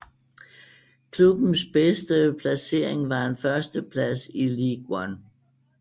Klubbens bedste placering var en førsteplads i League One